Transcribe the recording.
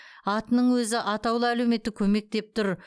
атының өзі атаулы әлеуметтік көмек деп тұр